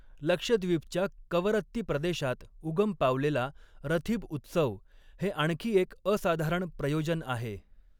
लक्षद्वीपच्या कवरत्ती प्रदेशात उगम पावलेला रथीब उत्सव हे आणखी एक असाधारण प्रयोजन आहे.